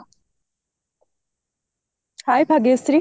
hye Bhagyashree